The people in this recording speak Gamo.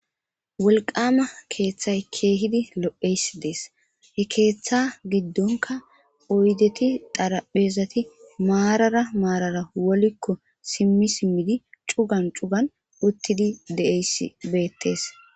Wolqama keeththay keehidi lopheysi dees he keeththa giddonka oydeti daraphezati maarara maarara wolikko simmi simmidi cugan cugan uttidi deey beettes.